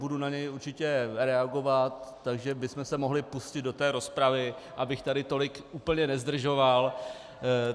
Budu na něj určitě reagovat, takže bychom se mohli pustit do té rozpravy, abych tady tolik úplně nezdržovat.